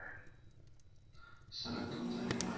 सलग दोन झाली.